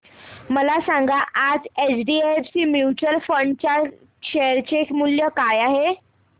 मला सांगा आज एचडीएफसी म्यूचुअल फंड च्या शेअर चे मूल्य काय आहे